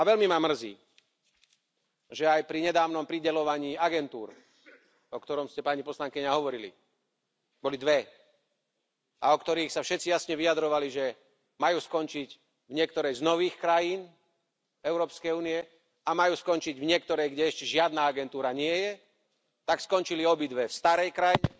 A veľmi ma mrzí, že aj pri nedávnom prideľovaní agentúr, o ktorom ste, pani poslankyňa, hovorili boli dve a o ktorých sa všetci jasne vyjadrovali, že majú skončiť v niektorej z nových krajín Európskej únie a majú skončiť v niektorej, kde ešte žiadna agentúra nie je, tak skončili obidve v starej krajine,